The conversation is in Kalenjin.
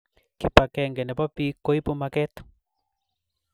Kibakeng nebo bik koibu maket